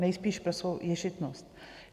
Nejspíš pro svou ješitnost.